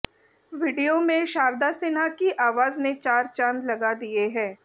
video में शारदा सिन्हा की आवाज ने चार चांद लगा दिए हैं